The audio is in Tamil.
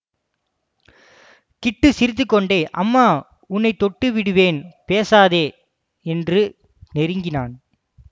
கிட்டு சிரித்துக்கொண்டே அம்மா உன்னை தொட்டுவிடுவேன் பேசாதே என்று நெருங்கினான்